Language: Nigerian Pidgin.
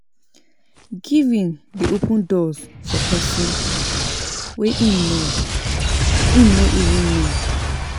Giving dey open doors for pesin wey im no wey him even know